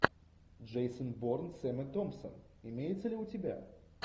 джейсон борн с эммой томпсон имеется ли у тебя